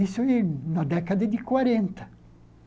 Isso na década de quarenta.